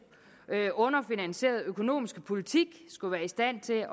underfinansierede økonomiske politik skulle være i stand til